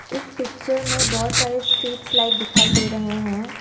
इस पिक्चर में बहोत सारे स्ट्रीट्स लाइट दिखाई दे रहे हैं।